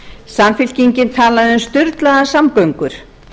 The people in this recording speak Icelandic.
samfylkingin talaði um sturlaðar samgöngur